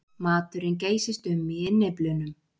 Maturinn geysist um í innyflunum.